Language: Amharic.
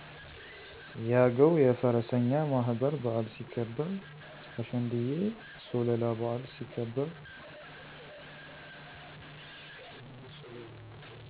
የአገዉ የፈረሰኛ ማህበር በዓል ሲከበር። አሸንድየ ሶለላ በዓል ሲከበር